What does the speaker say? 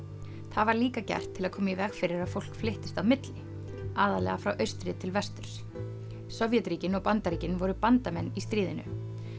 það var líka gert til að koma í veg fyrir að fólk flyttist á milli aðallega frá austri til vesturs Sovétríkin og Bandaríkin voru bandamenn í stríðinu